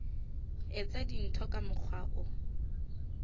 etsa dintho ka mokgwa o